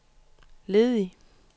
ledig